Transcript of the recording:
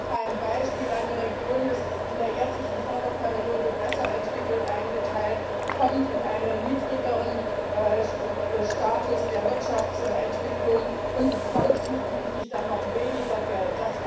Ich gebe ein Beispiel Eine Region ist in der jetzigen Förderperiode besser entwickelt eingeteilt, kommt in einen niedrigeren Status der Wirtschaftsentwicklung und bekommt zukünftig dann noch weniger Geld.